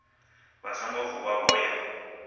vha songo vuwa vho ya